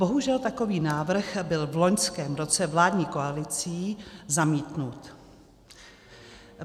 Bohužel takový návrh byl v loňském roce vládní koalicí zamítnut.